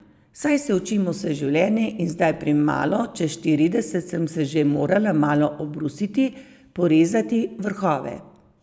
Saj se učimo vse življenje in zdaj pri malo čez štirideset sem se že morala malo obrusiti, porezati vrhove.